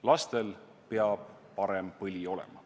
Lastel peab parem põli olema.